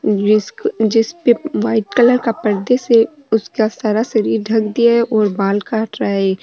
जिस जिसपे white colour का परदे से उसका सारा शरीर ढक दिया है और उसका बाल काट रहा है एक।